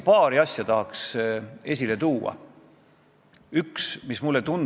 Täna me lihtsalt tapame teema juba eos ja sellega edasi ei lähe, kuigi kõik on tunnistanud, et probleem on.